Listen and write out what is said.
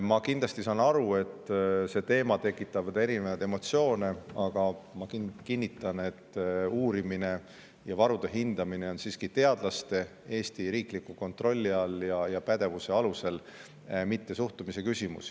Ma kindlasti saan aru, et see teema tekitab erinevaid emotsioone, aga ma kinnitan, et uurimine ja varude hindamine on siiski teadlaste ja Eesti riigi kontrolli ja pädevuse all, mitte suhtumise küsimus.